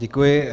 Děkuji.